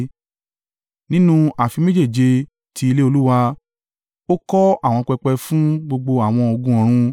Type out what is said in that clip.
Nínú ààfin méjèèje ti ilé Olúwa, ó kọ́ àwọn pẹpẹ fún gbogbo àwọn ogun ọ̀run